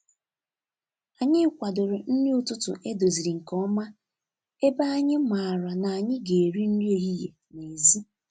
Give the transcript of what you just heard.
Anyị kwadoro nri ụtụtụ edoziri nke ọma ebe anyị maara na anyị ga-eri nri ehihie n'èzí.